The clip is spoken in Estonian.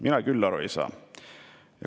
Mina küll aru ei saa.